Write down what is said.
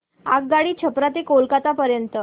आगगाडी छपरा ते कोलकता पर्यंत